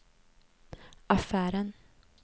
affären